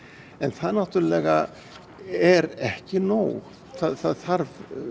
en það náttúrlega er ekki nóg það þarf